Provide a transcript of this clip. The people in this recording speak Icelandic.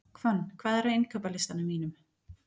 Hvönn, hvað er á innkaupalistanum mínum?